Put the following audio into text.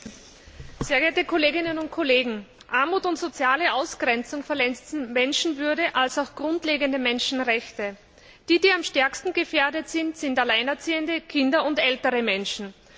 Frau Präsidentin, sehr geehrte Kolleginnen und Kollegen! Armut und soziale Ausgrenzung verletzen die Menschenwürde, also auch grundlegende Menschenrechte. Am stärksten gefährdet sind Alleinerziehende, Kinder und ältere Menschen.